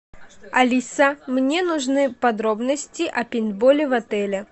алиса мне нужны подробности о пейнтболе в отеле